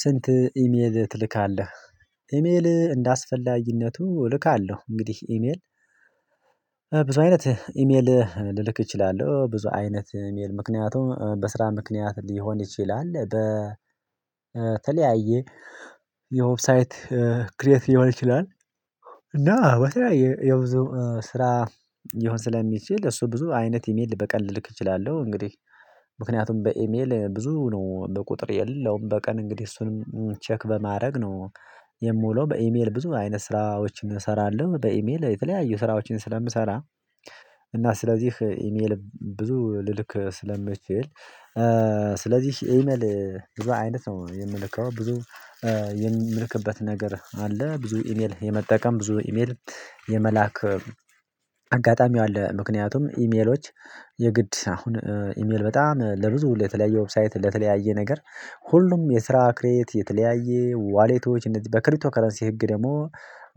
ስንት ኢሜል ትልካለህ? ኢሜል እንዳስፈላጊነቱ እልካለሁ። እንግዲህ ኢሜል ብዙ አይነት ኢሜል ልልክ እችላለሁ። ብዙ አይነት ኢሜል ምክንያቱም በስራ ምክንያት ሊሆን ይችላል በተለያየ የዌብሳይት ክሬት ሊሆን ይችላል። እና በተለያየ የብዙ ስራ ሊሆን ስለሚችል እሱ ብዙ አይነት ኢሜል በቀን ልልክ እችላለሁ። እንግዲህ ምክንያቱም በኢሜል ብዙ ነው በቁጥር የለውም በቀን እንግዲህ እሱንም ቼክ በማድረግ ነው የምውለው በኢሜል ብዙ አይነት ስራዎችን እሰራለሁ በኢሜል የተለያዩ ስራዎችን ስለምሰራ። እና ስለዚህ ኢሜል ብዙ ልልክ ስለምችል ስለዚህ ኢሜል ብዙ አይነት ነው የምልከው። ብዙ የምልክበት ነገር አለ ብዙ ኢሜል የመጠቀም ብዙ ኢሜል የመላክ አጋጣሚው አለ። ምክንያቱም ኢሜሎች የግድ አሁን ኢሜል በጣም ለብዙ ለተለያየ ዌብሳይት ለተለያየ ነገር ሁሉም የስራ ክሬት የተለያየ ዋሌቶች እንደዚህ በክሪቶ ከረንሲ ህግ ደግሞ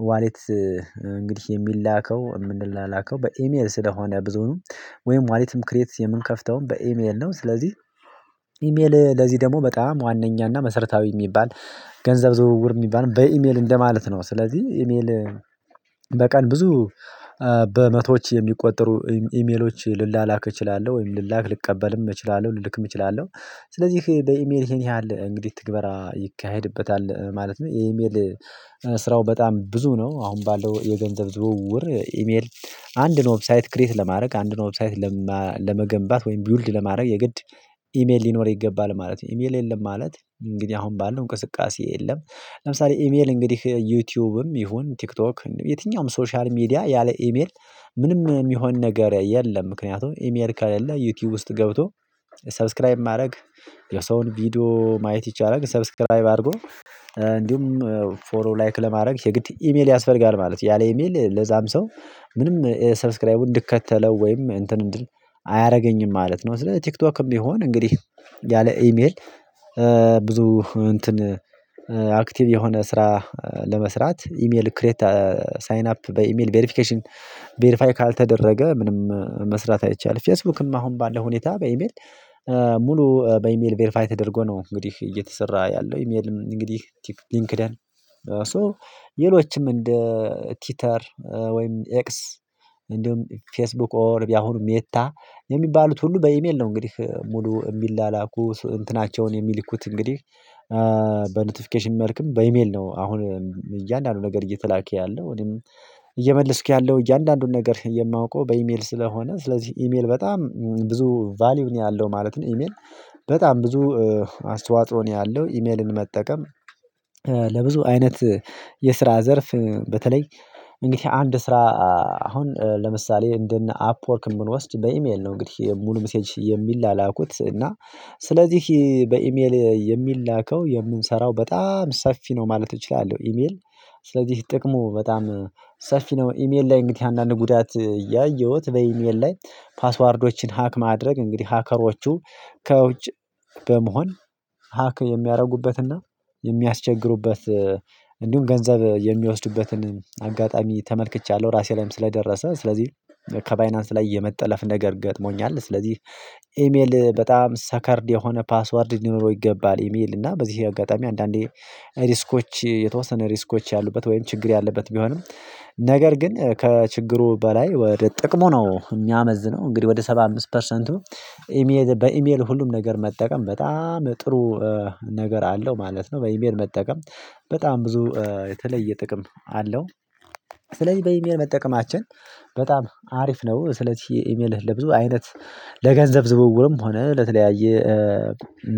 ዋሌት እንግዲህ የሚላከው የምንላላከው በኢሜል ስለሆነ ብዙኑም ወይም ዋናውትም ክሬት የምንከፍተውም በኢሜል ነው። ስለዚህ ኢሜል ለዚህ ደግሞ በጣም ዋናኛና መሰረታዊ የሚባል ገንዘብ ዝውውር የሚባል በኢሜል እንደማለት ነው። ስለዚህ ኢሜል በቀን ብዙ በመቶዎች የሚቆጠሩ ኢሜሎች ልላላክ እችላለሁ ወይም ልላክ ልቀበልም እችላለሁ ልልክም እችላለሁ ስለዚህ በኢሜል ይሄን ያህል እንግዲህ ትግበራ ይካሄድበታል ማለት ነው። የኢሜል ስራው በጣም ብዙ ነው አሁን ባለው የገንዘብ ዝውውር ኢሜል አንድን ዌብሳይት ክሬት ለማድረግ አንድን ዌብሳይት ለመገንባት ወይም ቢውልድ ለማድረግ የግድ ኢሜል ሊኖር ይገባል ማለት ነው። ኢሜል የለም ማለት እንግዲህ አሁን ባለው እንቅስቃሴ የለም። ለምሳሌ ኢሜል እንግዲህ ዩቲዩብም ይሁን ቲክቶክ የትኛውም ሶሻል ሚዲያ ያለ ኢሜል ምንም የሚሆን ነገር የለም ምክንያቱም ኢሜል ከሌለ ዩቲዩብ ውስጥ ገብቶ ሰብስክራይብ ማድረግ የሰውን ቪዲዮ ማየት ይቻላል። ሰብስክራይብ አድርጉ እንዲሁም ፎሎ ላይክ ለማድረግ የግድ ኢሜል ያስፈልጋል ማለት ነው። ያለ ኢሜል ለዛም ሰው ምንም ሰብስክራይቡን እንድከተለው ወይም እንትን እንድል አያደርገኝም ማለት ነው። ስለ ቲክቶክም ቢሆን እንግዲህ ያለ ኢሜል ብዙ እንትን አክቲቭ የሆነ ስራ ለመስራት ኢሜል ክሬት ሳይን አፕ በኢሜል ቬሪፊኬሽን ቬሪፋይ ካልተደረገ ምንም መስራት አይቻልም። ፌስቡክም አሁን ባለው ሁኔታ በኢሜል ሙሉ በኢሜል ቬሪፋይ ተደርጎ ነው እንግዲህ እየተሰራ ያለው ኢሜልም እንግዲህ ሊንክደን ሶ ሌሎችም እንደ ቲተር ወይም ኤክስ እንደውም ፌስቡክ ኦርቢ አሁን ሜታ የሚባሉት ሁሉ በኢሜል ነው እንግዲህ ሙሉ የሚላላኩ እንትናቸውን የሚልኩት እንግዲህ በኖቲፊኬሽን መልክም በኢሜል ነው። አሁን እያንዳንዱ ነገር እየተላከ ያለው እኔም እየመለስኩ ያለው እያንዳንዱን ነገር የማውቀው በኢሜል ስለሆነ ስለዚህ ኢሜል በጣም ብዙ ቫልዩ ነው ያለው ማለት ነው። ኢሜል በጣም ብዙ አስተዋጽኦ ነው ያለው ኢሜልን መጠቀም ለብዙ አይነት የስራ ዘርፍ በተለይ እንግዲህ አንድ ስራ አሁን ለምሳሌ እንደነ አፕወርክ የምንወስድ በኢሜል ነው እንግዲህ ሙሉ ሚሴጅ የሚላላኩት እና ስለዚህ በኢሜል የሚላከው የምንሰራው በጣም ሰፊ ነው ማለት እችላለሁ። ኢሜል ስለዚህ ጥቅሙ በጣም ሰፊ ነው ኢሜል ላይ እንግዲህ አንዳንድ ጉዳት ያየሁት በኢሜል ላይ ፓስዋርዶችን ሀክ ማድረግ እንግዲህ ሀከሮቹ ከውጭ በመሆን ሀክ የሚያደርጉበትና የሚያስቸግሩበት እንዲሁም ገንዘብ የሚወስዱበትን አጋጣሚ ተመልክቻለሁ። ራሴ ላይም ስለደረሰ ስለዚህ ከባይናንስ ላይ የመጠለፍ ነገር ገጥሞኛል። ስለዚህ ኢሜል በጣም ሰከርድ የሆነ ፓስወርድ ሊኖረው ይገባል የሚል እና በዚህ አጋጣሚ አንዳንዴ ሪስኮች የተወሰነ ሪስኮች ያሉበት ወይም ችግር ያለበት ቢሆንም ነገር ግን ከችግሩ በላይ ወደ ጥቅሙ ነው የሚያመዝነው እንግዲህ ወደ ሰባ አምስት ፐርሰንቱ በኢሜል ሁሉም ነገር መጠቀም በጣም ጥሩ ነገር አለው ማለት ነው። በኢሜል መጠቀም በጣም ብዙ የተለየ ጥቅም አለው። ስለዚህ በኢሜል መጠቀማችን በጣም አሪፍ ነው። ስለዚህ ኢሜልህ ለብዙ አይነት ለገንዘብ ዝውውርም ሆነ ለተለያየ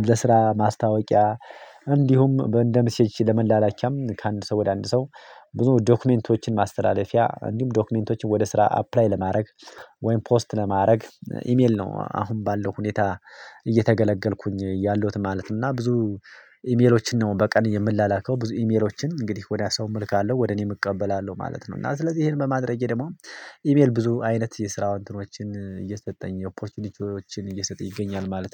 ለስራ ማስታወቂያ እንዲሁም እንደ ሚሴጅ ለመላላኪያም ከአንድ ሰው ወደ አንድ ሰው ብዙ ዶክመንቶችን ማስተላለፊያ እንዲሁም ዶክመንቶችን ወደ ስራ አፕላይ ለማድረግ ወይም ፖስት ለማድረግ ኢሜል ነው። አሁን ባለው ሁኔታ እየተገለገልኩኝ ያለሁት ማለት እና ብዙ ኢሜሎችን ነው በቀን የምለላከው ብዙ ኢሜሎችን እንግዲህ ወዲያ ሰው እምልካለሁ ወደ እኔ እቀበላለሁ ማለት ነው። እና ስለዚህ ይሄን በማድረጌ ደግሞ ኢሜል ብዙ አይነት የስራ እትኖቹን እየሰጠኝ ኦፖርቹኒቲዎችን እየሰጠኝ ይገኛል ማለት ነው